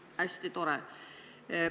Hästi tore!